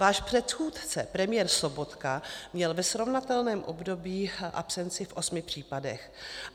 Váš předchůdce premiér Sobotka měl ve srovnatelném období absenci v osmi případech.